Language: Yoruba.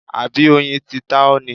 Àbí oyin ti ta ọ́ ni?